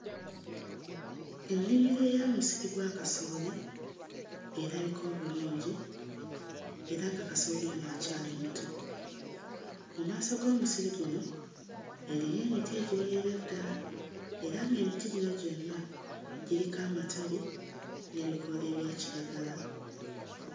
Ennimiro eya musiri gwa kasooli erabika obulungi era nga kasooli ono akyali muto. Mu maaso g'omusiri guno eriyo emiti egiwerera ddala era ng'emiti gino gyonna giriko amatabi n'ebikoola ebya kiragala.